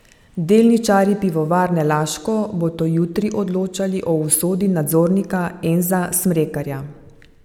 Delničarji Pivovarne Laško bodo jutri odločali o usodi nadzornika Enza Smrekarja.